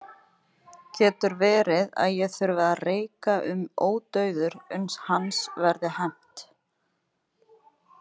Getur verið að ég þurfi að reika um ódauður uns hans verði hefnt?